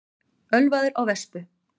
Ölvaður á vespu